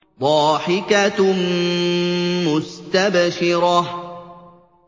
ضَاحِكَةٌ مُّسْتَبْشِرَةٌ